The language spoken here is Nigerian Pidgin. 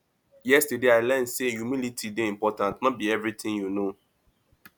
yesterday i learn sey humility dey important no be everytin you know